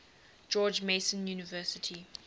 george mason university